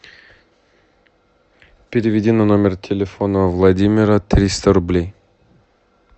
переведи на номер телефона владимира триста рублей